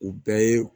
U bɛɛ ye